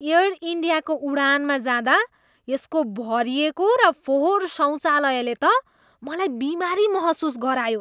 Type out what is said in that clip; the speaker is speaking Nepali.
एयर इन्डियाको उडानमा जाँदा यसको भरिएको र फोहोर शौचालयले त मलाई बिमारी महसुस गरायो।